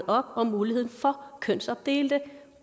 op om muligheden for kønsopdelte